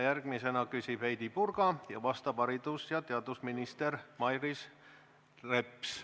Järgmisena küsib Heidy Purga ja vastab haridus- ja teadusminister Mailis Reps.